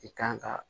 I kan ka